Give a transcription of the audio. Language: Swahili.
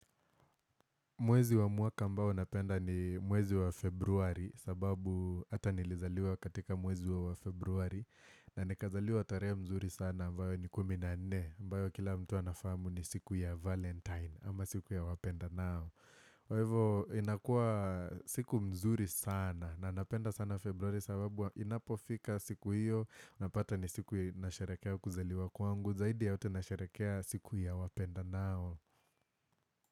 Mwezi wa mwaka ambao napenda ni mwezi wa februari sababu hata nilizaliwa katika mwezi wa Februari na nikazaliwa tarehe mzuri sana ambao ni kumi na nne ambao kila mtu anafamu ni siku ya valentine ama siku ya wapenda nao kwa hivo inakuwa siku mzuri sana na napenda sana Februari sababu inapofika siku hiyo napata ni siku ya nasharekea kuzaliwa kwangu zaidi yote nasharekea siku ya wapenda nao.